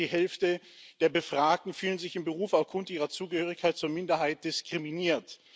Mehr als die Hälfte der Befragten fühlen sich im Beruf aufgrund ihrer Zugehörigkeit zur Minderheit diskriminiert.